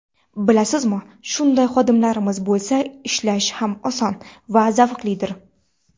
Bilasizmi, shunday xodimlaringiz bo‘lsa ishlash ham oson, ham zavqlidir.